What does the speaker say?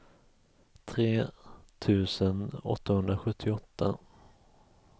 tre tusen åttahundrasjuttioåtta